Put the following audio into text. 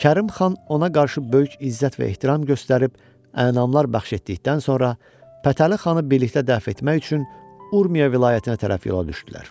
Kərim xan ona qarşı böyük izzət və ehtiram göstərib, ənamlar bəxş etdikdən sonra Fətəli xanı birlikdə dəfn etmək üçün Urmiya vilayətinə tərəf yola düşdülər.